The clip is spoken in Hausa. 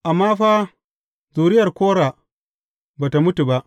Amma fa, zuriyar Kora ba tă mutu ba.